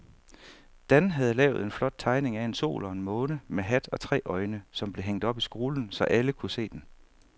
Dan havde lavet en flot tegning af en sol og en måne med hat og tre øjne, som blev hængt op i skolen, så alle kunne se den.